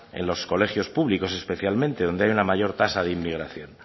en los colegios públicos especialmente donde hay una mayor tasa de emigración